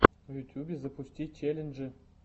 в ютьюбе запусти челленджи